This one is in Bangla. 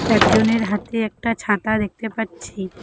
একজনের হাতে একটা ছাতা দেখতে পাচ্ছি।